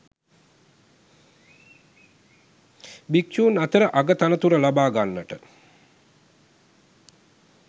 භික්‍ෂූන් අතර අග තනතුර ලබා ගන්නට